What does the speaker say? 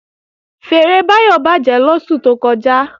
Fèèrè Báyọ̀ bàjẹ́ lóṣù tó kọjá